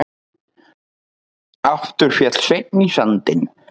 Aftur féll Sveinn í sandinn.